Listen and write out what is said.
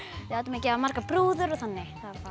við áttum að gera margar brúður og þannig